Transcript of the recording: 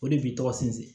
O de b'i tɔgɔ sinsin